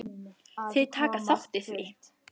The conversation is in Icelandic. Þau taka þátt í því.